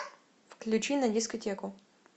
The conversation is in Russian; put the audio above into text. включи на дискотеку